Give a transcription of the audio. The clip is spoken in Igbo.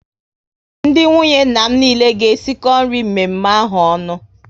Ndị nwunye nna m niile ga esiko nri mme mme ahụ onu